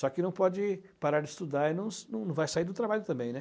Só que não pode parar de estudar e não não vai sair do trabalho também, né.